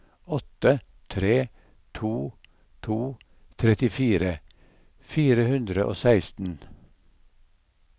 åtte tre to to trettifire fire hundre og seksten